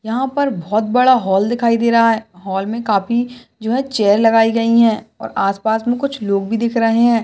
यहा पर बहुत बड़ा हाॅल दिखाई दे रहा है हाॅल मे काफी जो ये चैर लगाई गई है और आसपास मे कुछ लोग भी दिख रहे है।